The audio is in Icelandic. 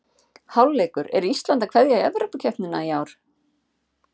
Hálfleikur: Er Ísland að kveðja Evrópukeppnina í ár?